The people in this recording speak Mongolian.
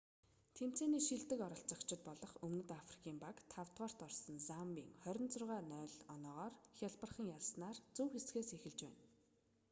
тэмцээний шилдэг оролцогчидб олох өмнөд африкийн баг 5-рт орсон замбийг 26 - 00 оноогоор хялбархан ялсанаар зөв хэсгээс эхэлж байна